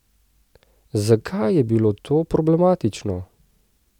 Zakaj je bilo to problematično?